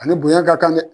Ani bonya ka kan dɛ